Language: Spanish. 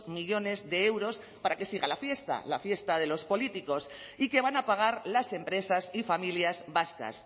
millónes de euros para que siga la fiesta la fiesta de los políticos y que van a pagar las empresas y familias vascas